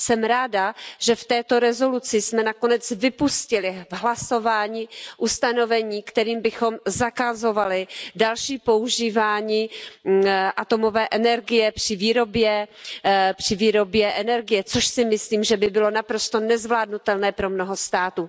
Jsem ráda, že v této rezoluci jsme nakonec vypustili v hlasování ustanovení, kterým bychom zakazovali další používání atomové energie při výrobě energie, což si myslím, že by bylo naprosto nezvládnutelné pro mnoho států.